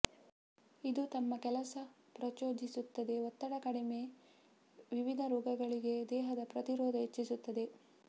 ಇದು ತಮ್ಮ ಕೆಲಸ ಪ್ರಚೋದಿಸುತ್ತದೆ ಒತ್ತಡ ಕಡಿಮೆ ವಿವಿಧ ರೋಗಗಳಿಗೆ ದೇಹದ ಪ್ರತಿರೋಧ ಹೆಚ್ಚಿಸುತ್ತದೆ